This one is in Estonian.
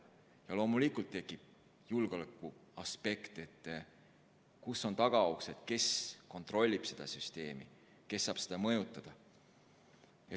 Ja loomulikult tekivad julgeolekuaspektist küsimused, kus on tagauksed, kes kontrollib seda süsteemi, kes saab seda mõjutada jne.